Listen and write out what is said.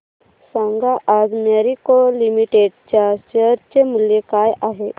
सांगा आज मॅरिको लिमिटेड च्या शेअर चे मूल्य काय आहे